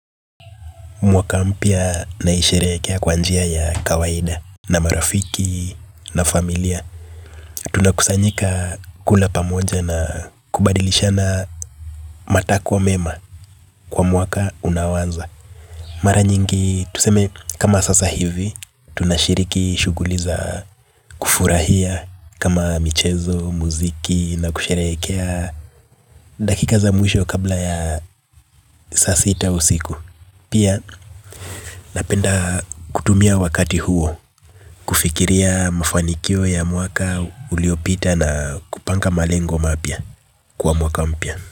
Mwaka mpya naisherekea kw anjia ya kawaida. Na marafiki na familia tunakusanyika kula pamoja na kubadilishana matakwa mema. Kwa mwaka unaoanza mara nyingi tuseme kama sasa hivi tunashiriki shuguli za kufurahia kama michezo, muziki na kusherekea. Dakika za mwisho kabla ya saa sita usiku pia napenda kutumia wakati huo kufikiria mafanikio ya mwaka uliopita na kupanga malengo mapya kwa mwaka mpia.